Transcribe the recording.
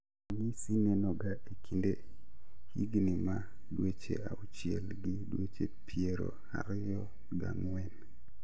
Ranyisi nenoga e kind higni ma dweche auchiel gi dweche piero ariyo gang'wen